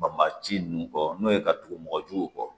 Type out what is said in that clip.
ci nunnu kɔ n'o ye ka tugu mɔgɔjugu kɔ